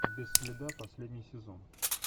без следа последний сезон